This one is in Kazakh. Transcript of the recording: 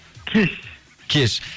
кеш кеш